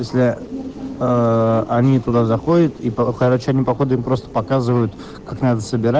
если ээ они туда заходит и короче они походу им просто показывают как надо собира